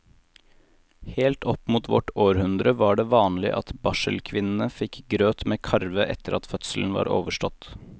Helt opp mot vårt århundre var det vanlig at barselkvinnene fikk grøt med karve etter at fødselen var overstått.